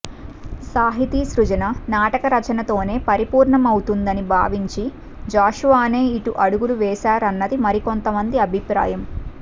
సాహితీ సృజన నాటక రచనతోనే పరిపూర్ణమవుతుందని భావించి జాషువానే ఇటు అడుగులు వేశారన్నది మరికొంతమంది అభిప్రాయం